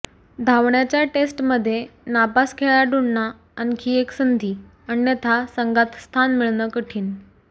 धावण्याच्या टेस्टमध्ये नापास खेळाडूंना आणखी एक संधी अन्यथा संघात स्थान मिळणं कठीण